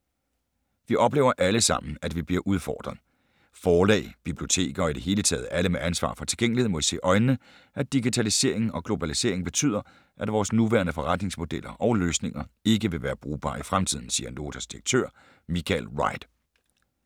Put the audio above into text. - Vi oplever alle sammen, at vi bliver udfordret. Forlag, biblioteker og i det hele taget alle med ansvar for tilgængelighed må se i øjnene, at digitaliseringen og globaliseringen betyder, at vores nuværende forretningsmodeller og løsninger ikke vil være brugbare i fremtiden, siger Notas direktør, Michael Wright.